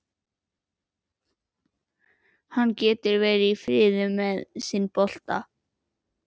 Hann getur verið í friði með sinn bolta.